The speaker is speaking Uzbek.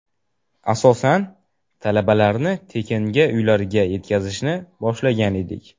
Asosan, talabalarni tekinga uylariga yetkazishni boshlagan edik.